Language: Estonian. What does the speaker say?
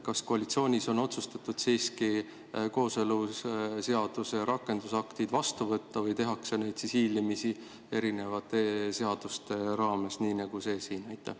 Kas koalitsioonis on otsustatud siiski kooseluseaduse rakendusaktid vastu võtta või tehakse seda hiilimisi erinevate seaduste raames, nii nagu siin?